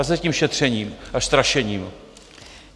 A s tím šetřením a strašením.